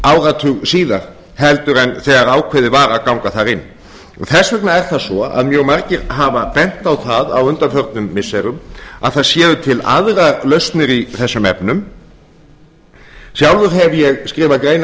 áratug síðar heldur en ákveðið var að ganga þar inn þess vegna er það svo að mjög margir hafa bent á það á undanförnum missirum að til séu aðrar lausnir í þessum efnum sjálfur hef ég skrifað greinar